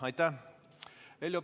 Aitäh!